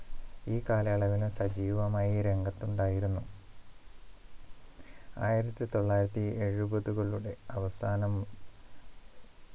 ഈ കാലയളവിൽ സജീവമായി രംഗത്തുണ്ടായിരുന്നു ആയിരത്തി തൊള്ളായിരത്തി എഴുപതുകളുടെ അവസാനം